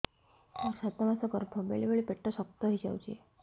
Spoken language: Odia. ମୋର ସାତ ମାସ ଗର୍ଭ ବେଳେ ବେଳେ ପେଟ ଶକ୍ତ ହେଇଯାଉଛି